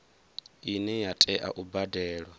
ine ya tea u badelwa